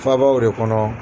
Faabaw de kɔnɔ.